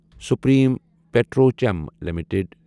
Supreme Petrochem limited